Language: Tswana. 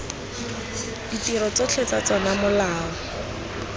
ditiro tsotlhe tsa tsona molao